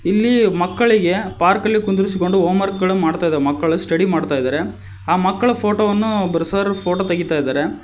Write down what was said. ಇಲ್ಲಿ ಮಕ್ಕಳಿಗೆ ಪಾರ್ಕ್ ಅಲ್ಲಿ ಕುಂದರಿಸಿಕೊಂಡು ಹೋಂವರ್ಕ್ ಗಳು ಮಾಡುತ್ತಿದ್ದಾವೆ ಮಕ್ಕಳು ಸ್ಟಡಿ ಮಾಡ್ತಾ ಇದ್ದಾರೆ ಆ ಮಕ್ಕಳ ಫೋಟೋ ವನ್ನು ಒಬ್ರು ಸರ್ ಫೋಟೋ ತೆಗಿತಾ ಇದ್ದಾರೆ.